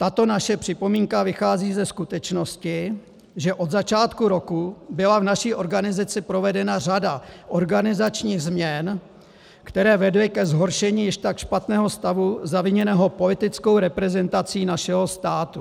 Tato naše připomínka vychází ze skutečnosti, že od začátku roku byla v naší organizaci provedena řada organizačních změn, které vedly ke zhoršení již tak špatného stavu zaviněného politickou reprezentací našeho státu." -